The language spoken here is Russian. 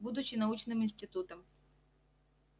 будучи научным институтом